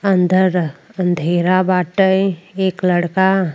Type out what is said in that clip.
अंदर अंधेरा बाटे। एक लड़का --